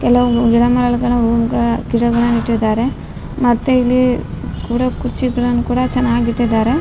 ಕೆಲವು ಗಿಡ ಮರಗಳನ್ನು ಗಳ ಆಹ್ಹ್ ಗಿಡಗಳನ್ನ ನೆಟ್ಟಿದ್ದಾರೆ ಮತ್ತೆ ಇಲ್ಲಿ ಕೂಡಾಕ್ ಕುರ್ಚಿಗಳನ್ ಕೂಡ ಚೆನ್ನಾಗ್ ಇಟ್ಟಿದ್ದಾರೆ.